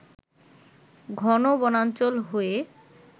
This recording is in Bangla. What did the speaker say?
ঘন বনাঞ্চল হয়ে